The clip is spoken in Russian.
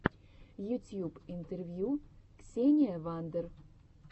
ютьюб интервью ксения вандер